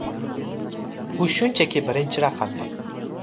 U shunchaki birinchi raqamli.